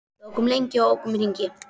Við ókum lengi og ókum í hringi.